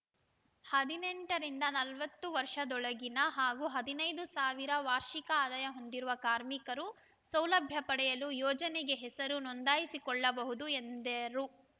ಹದಿನೆಂಟು ರಿಂದ ನಲವತ್ತು ವರ್ಷದೊಳಗಿನ ಹಾಗೂ ಹದಿನೈದು ಸಾವಿರ ವಾರ್ಷಿಕ ಆದಾಯ ಹೊಂದಿರುವ ಕಾರ್ಮಿಕರು ಸೌಲಭ್ಯ ಪಡೆಯಲು ಯೋಜನೆಗೆ ಹೆಸರು ನೋಂದಾಯಿಸಿಕೊಳ್ಳಬಹುದು ಎಂದೇರು